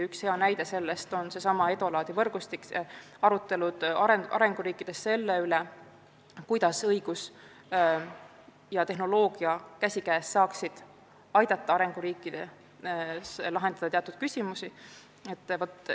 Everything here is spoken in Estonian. Üks hea näide on eelmärgitud EDOLAD-i võrgustik, mis hõlmab arutelusid arenguriikides selle üle, kuidas õigus ja tehnoloogia käsikäes saaksid aidata arenguriikides teatud küsimusi lahendada.